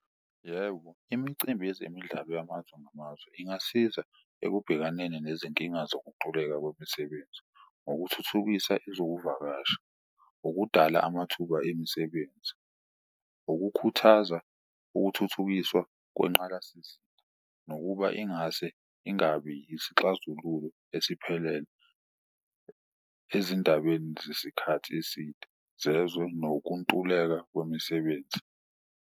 Yebo, imicimbi yezemidlalo yamazwe ngamazwe ingasiza ekubhekaneni nezinkinga zokuntuleka kwemisebenzi ngokuthuthukisa ezokuvakasha, ukudala amathuba emisebenzi, ukukhuthaza ukuthuthukiswa kwenqgalasizinda. Nokuba ingase ingabi isixazululo esiphelele ezindabeni zesikhathi eside zezwe nokuntuleka kwemisebenzi.